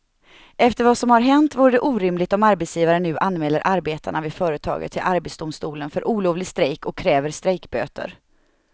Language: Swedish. Efter vad som har hänt vore det orimligt om arbetsgivaren nu anmäler arbetarna vid företaget till arbetsdomstolen för olovlig strejk och kräver strejkböter.